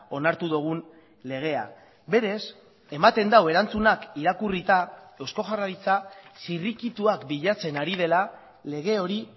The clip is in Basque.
onartu dugun legea berez ematen du erantzunak irakurrita eusko jaurlaritza zirrikituak bilatzen ari dela lege hori